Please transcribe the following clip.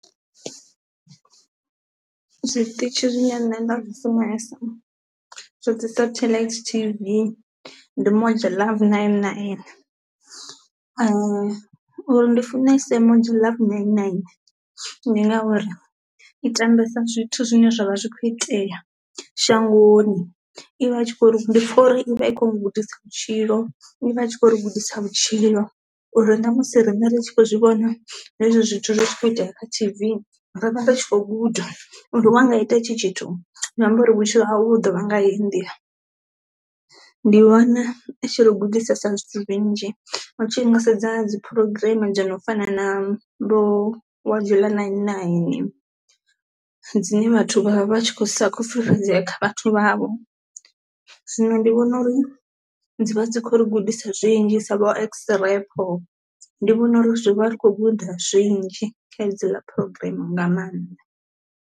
Zwiṱitshi zwine nṋe nda zwi funesa zwa dzi satelite T_V ndi moja luv nine nine, uri ndi funese moja luv nine nine ndi ngauri i tambesa zwithu zwine zwa vha zwi kho itea shangoni, i vha i tshi kho ndi pfha uri ivha i kho ri gudisa vhutshilo i vha tshi khou ri gudisa vhutshilo uri ṋa musi riṋe ri tshi khou zwi vhona hezwo zwithu zwi tshi kho itea kha T_V ro vha tshi khou guda uri wa nga ita hetshi tshithu zwi amba uri vhutshilo hau hu ḓo vha nga heyi ndi. Ndi vhona i tshi ri gudisesa zwithu zwinzhi utshi nga sedza dzi program dzo no fana na vho uya jola nine nine dzine vhathu vha vha vha tshi kho sa khou fhulufhedzea kha vhathu vhavho, zwino ndi vhona uri dzi vha dzi khou ri gudisa zwinzhi sa vho xrepo ndi vhona uri zwi vha ri kho guda zwinzhi kha hedziḽa programm nga maanḓa.